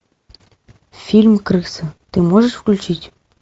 фильм крыса ты можешь включить